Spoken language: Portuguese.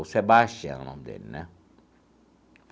O Sebastian, é o nome dele né.